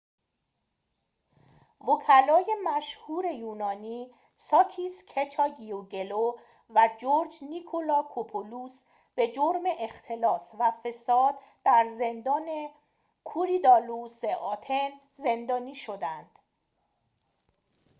وکلای مشهور یونانی ساکیس کچاگیوگلو و جورج نیکلاکوپولوس به جرم اختلاس و فساد در زندان کوریدالوس آتن زندانی شده اند